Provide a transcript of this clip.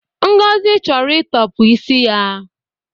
Ngozi chọrọ ịtọpụ isi ya